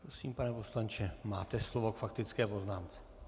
Prosím, pane poslanče, máte slovo k faktické poznámce.